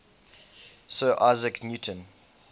sir isaac newton